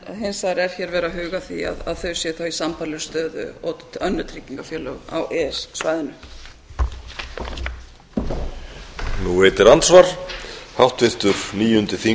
hins vegar er hér verið að huga að því að þau séu þá í sambærilegri stöðu og önnur tryggingafélög á e e s svæðinu